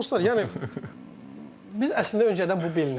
Dostlar, yəni, biz əslində öncədən bu bilindi.